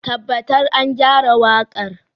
Tabbatar an gyara waƙar.